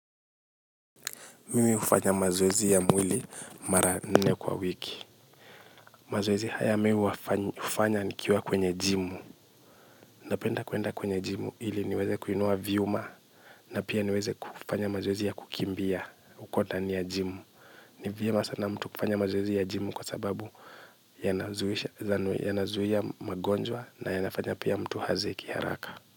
Mimi hufanya mazoezi ya mwili mara nne kwa wiki mazoezi haya mimi ufanya nikiwa kwenye jimu napenda kuenda kwenye jimu hili niweze kuinua vyuma na pia niweze kufanya mazoezi ya kukimbia uko tani ya jimu ni vyema sana mtu kufanya mazoezi ya jimu kwa sababu yanazuia magonjwa na yanafanya pia mtu hazeki haraka.